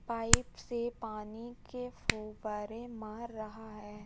Pipe से पानी के फुव्वारे मार रहा है।